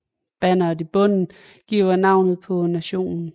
Banneret i bunden giver navnet på nationen